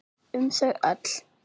Um þau öll.